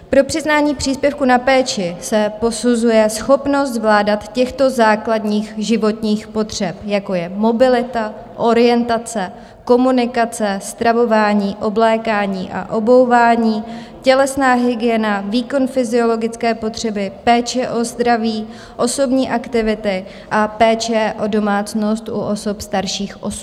Pro přiznání příspěvku na péči se posuzuje schopnost zvládání těchto základních životních potřeb, jako je mobilita, orientace, komunikace, stravování, oblékání a obouvání, tělesná hygiena, výkon fyziologické potřeby, péče o zdraví, osobní aktivity a péče o domácnost u osob starších 18 let.